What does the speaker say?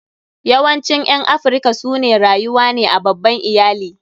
Yawancin ƴan Afrika su ne rayuwa ne a babban iyali.